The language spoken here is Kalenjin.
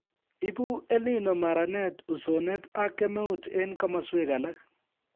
Ibu EL Nino maranet ,usonet ak kemeut eng kimaswek alak